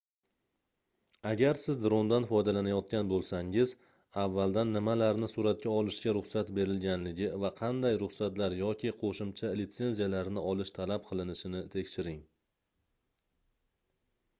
agar siz drondan foydalanayotgan boʻlsangiz avvaldan nimalarni suratga olishga ruxsat berilganligi va qanday ruxsatlar yoki qoʻshimcha litsenziyalarni olish talab qilinishini tekshiring